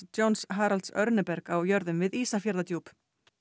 Johns Haralds á jörðum við Ísafjarðardjúp